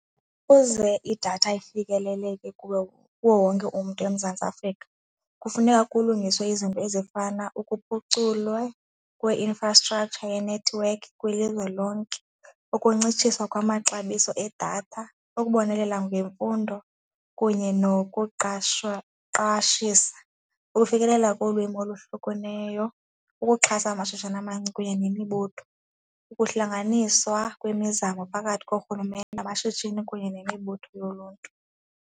Ukuze idatha ifikeleleke kuye, kuwo wonke umntu eMzantsi Afrika kufuneka kulungiswe izinto ezifana ukuphuculwa kwe-infrastructure yenethiwekhi kwilizwe lonke. Ukuncitshiswa kwamaxabiso edatha, ukubonelela ngemfundo kunye nokuqashwa, qashisa, ukufikelela kolwimi olohlukaneyo, ukuxhasa amashishini amancinci kunye nemibutho, ukuhlanganiswa kwemizamo phakathi korhulumente namashishini kunye nemibutho yoluntu.